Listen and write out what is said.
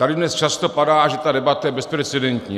Tady dnes často padá, že ta debata je bezprecedentní.